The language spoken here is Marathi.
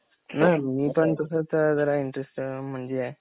हं मी पण तसाच जरा इंटरेस्टेड आहे म्हणून म्हणजे